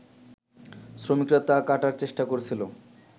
শ্রমিকরা তা কাটার চেষ্টা করছিল